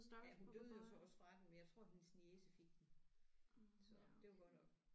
Ja hun døde jo så også fra den men jeg tror hendes niece fik den så det var godt nok